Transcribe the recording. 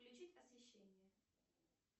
включить освещение